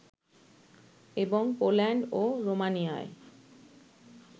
এবং পোল্যান্ড ও রোমানিয়ায়